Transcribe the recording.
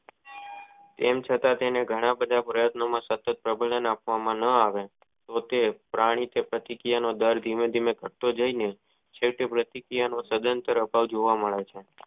તેમ છતાં તેને ઘણા બધા પ્રયતનો માં સતત પ્રબંન આપવા માં ન આવ્યું તો તે પ્રાણ પ્રતિ ક્રિયાનો દર ધીમો ધીમોં ખટતો જાય જોવા મળે છે.